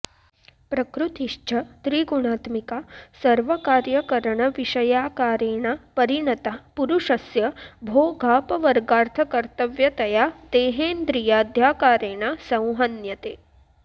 प्रकृतिश्च त्रिगुणात्मिका सर्वकार्यकरणविषयाकारेण परिणता पुरुषस्य भोगापवर्गार्थकर्तव्यतया देहेन्द्रियाद्याकारेण संहन्यते